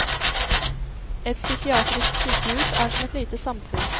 Et psykiatrisk sykehus er som et lite samfunn.